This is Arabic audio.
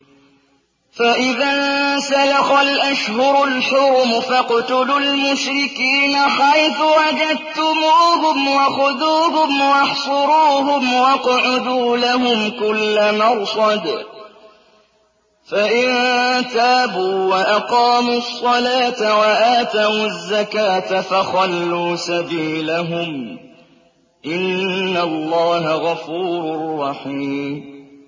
فَإِذَا انسَلَخَ الْأَشْهُرُ الْحُرُمُ فَاقْتُلُوا الْمُشْرِكِينَ حَيْثُ وَجَدتُّمُوهُمْ وَخُذُوهُمْ وَاحْصُرُوهُمْ وَاقْعُدُوا لَهُمْ كُلَّ مَرْصَدٍ ۚ فَإِن تَابُوا وَأَقَامُوا الصَّلَاةَ وَآتَوُا الزَّكَاةَ فَخَلُّوا سَبِيلَهُمْ ۚ إِنَّ اللَّهَ غَفُورٌ رَّحِيمٌ